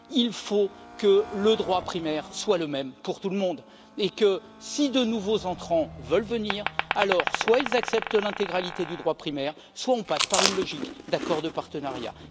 Il faut que le droit primaire soit le même pour tout le monde et que, si de nouveaux entrants veulent venir, soit ils acceptent l'intégralité du droit primaire, soit on passe par une logique d'accords de partenariat.